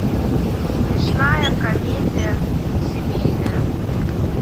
смешная комедия семейная